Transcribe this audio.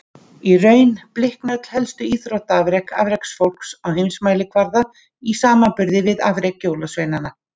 Í raun blikna öll helstu íþróttaafrek afreksfólks á heimsmælikvarða í samanburði við afrek jólasveinanna.